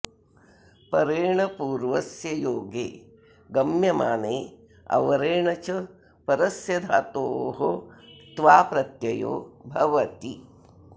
परेण पूर्वस्य योगे गम्यमाने अवरेण च परस्य धातोः क्त्वा प्रत्ययो भवति